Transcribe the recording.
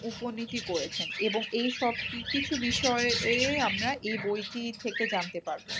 উপনীতি করেছেন এবং এইসব কিছু বিষয়ে এই আমরা এই বইটি থেকে জানতে পারবো।